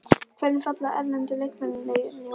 Hvernig falla erlendu leikmennirnir inn í hópinn?